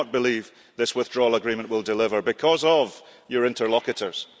I do not believe this Withdrawal Agreement will deliver because of your interlocutors.